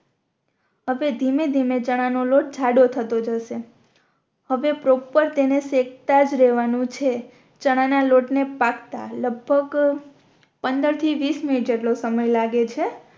હવે ધીમે ધીમે ચણા નો લોટ જાડો થતો જશે હવે પ્રોપર તેને સકેતાજ રેહવાનુ છે ચણા ના લોટ ને પાકતા લગભગ પંદર થી વીસ મિનિટ જેટલો સમય લાગે છે